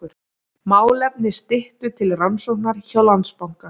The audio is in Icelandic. Málefni Styttu til rannsóknar hjá Landsbanka